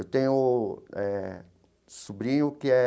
Eu tenho eh sobrinho que é...